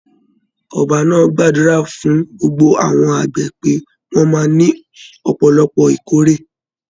Ọba náà gbàdúrà fún gbogbo àwọn àgbẹ̀ pé wọ́n máa ní ọ̀pọ̀lọpọ̀ ìkórè.